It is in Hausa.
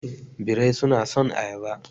Birrai suna son ayaba.